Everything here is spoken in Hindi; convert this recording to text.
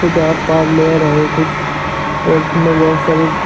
सुधा पार्लर है कुछ और उसमें बहुत सारे--